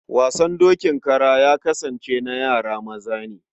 Wasan dokin kara ya kasance na yara maza ne.